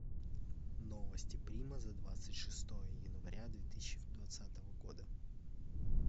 новости прима за двадцать шестое января две тысячи двадцатого года